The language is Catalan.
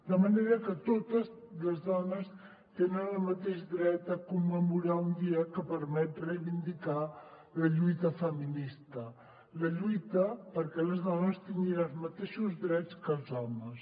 de manera que totes les dones tenen el mateix dret a commemorar un dia que permet reivindicar la lluita feminista la lluita perquè les dones tinguin els mateixos drets que els homes